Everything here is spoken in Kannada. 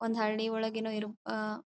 ಒಂದ್ ಹಳ್ಳಿ ಒಳಗೆ ಏನೋ ಇರ್ಬ್ ಆಹ್ಹ್--